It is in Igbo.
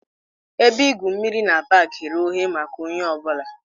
Ebe igwu mmiri na pak ghere oghe maka onye ọ bụla